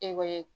Ekɔli